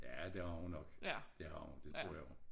Ja det har hun nok det har hun det tror jeg